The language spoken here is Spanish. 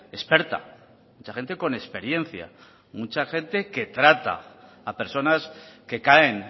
experta mucha gente con experiencia mucha gente que trata a personas que caen